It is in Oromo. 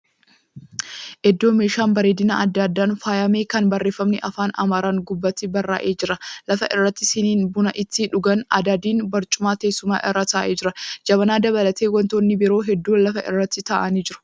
Iddoo meeshaa bareedinaa adda addaan faayame, Kan barreefamni Afaan Amaaraan gubbaatti barraa'ee jira. Lafa irratti, siniin buna itti dhugan adadiin barcuma teessumaa irra taa'ee jira. Jabanaa dabalatee wantoonni biroo hedduun lafa irratti tarraa'anii jiru.